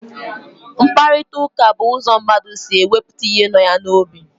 Mkpakọrịtaụka bụ ụzọ mmadụ si ekwupụta ihe nọ ya n'obi.